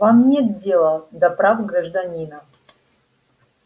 вам нет дела до прав гражданина